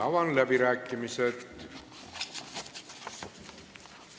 Avan läbirääkimised.